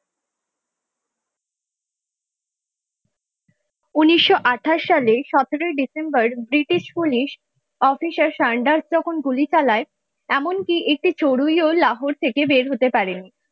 উনিশশো আঠাশ সালের সতেরই December British police officer Saunders যখন গুলি চালায় এমনকি একটি চড়ুইও লাহোর থেকে বের হতে পারেনি।